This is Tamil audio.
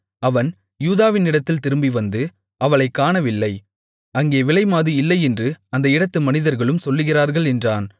அவன் யூதாவினிடத்தில் திரும்பி வந்து அவளைக் காணவில்லை அங்கே விலைமாது இல்லையென்று அந்த இடத்து மனிதர்களும் சொல்லுகிறார்கள் என்றான்